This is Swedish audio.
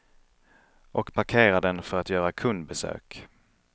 Och parkerar den för att göra kundbesök.